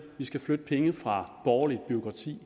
vi skal flytte penge fra borgerligt bureaukrati